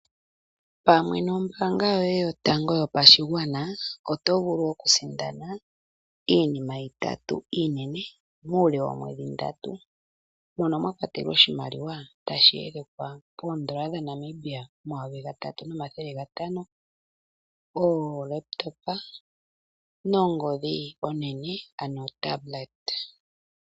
Pamwe nombaanga yoye yopashigwana oto vulu oku sindana iinima itatu iinene uule woomwedhi ndatu monomwakwatelwa oshimaliwa tashi elekwa poo N$ 3500.00 oolepitopa nongodhi onene ano otablet.